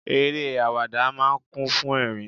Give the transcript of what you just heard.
Eré àwàdà máa ń kún fún ẹrin.